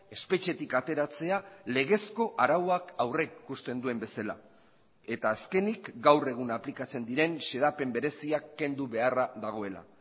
espetxetik ateratzea legezko arauak aurrikusten duen bezala eta azkenik gaur egun aplikatzen diren xedapen bereziak kendu beharra dagoela